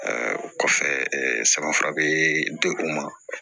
o kɔfɛ sɛbɛ fura bee di u ma